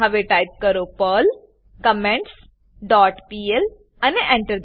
હવે ટાઈપ કરો Perl comments dot PL અને Enter